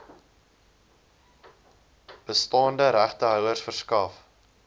bestaande regtehouers verskaf